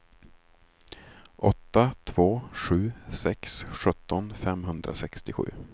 åtta två sju sex sjutton femhundrasextiosju